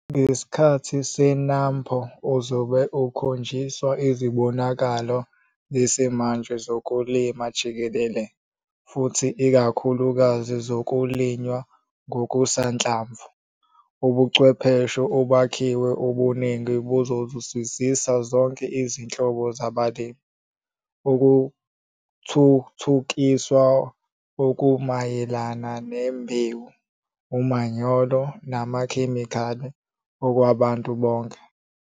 Ngesikhathi se-NAMPO, uzobe ukhonjiswa izibonakalo zesimanje zokulima jikelele futhi ikakhulukazi zokulinywa kokusanhlamvu. Ubuchwepheshe obakhiwa obuningi buzozuzisa zonke izinhlobo zabalimi - ukuthuthukiswa okumayelana nembewu, umanyolo namakhemikhali okwabantu bonke.